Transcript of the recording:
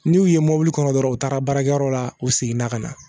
N'u y'u ye mɔbili kɔnɔ dɔrɔn u taara baarakɛyɔrɔ la u seginna ka na